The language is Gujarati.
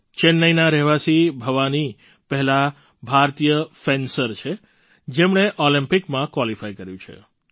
ચેન્નાઈનાં રહેવાસી ભવાની પહેલાં ભારતીય ફેન્સર છે જેમણે ઑલિમ્પિકમાં ક્વૉલિફાય કર્યું છે